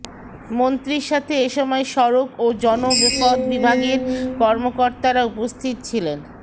মন্ত্রীর সাথে এসময় সড়ক ও জনপদ বিভাগের কর্মকর্তারা উপস্থিত ছিলেন